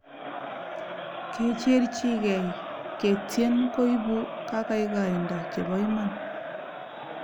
kecherchikei ketien koipu kakaikaindo chepo iman